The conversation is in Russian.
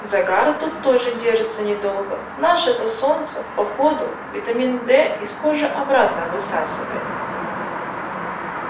загар тут тоже держится недолго наше-то солнце по ходу витамин д из кожи обратно высасывает